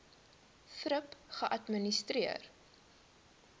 thrip geadministreer